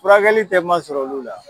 Furakɛli tɛ masɔrɔ olu la.